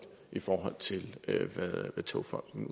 i forhold til hvad togfonden